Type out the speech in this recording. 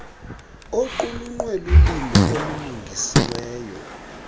oqulunkqwe lulimo olulungisiweyo